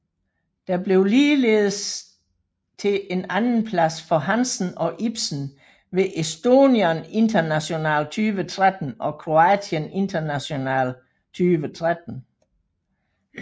Det blev ligeldes til en andenplads for Hansen og Ipsen ved Estonian International 2013 og Croatian International 2013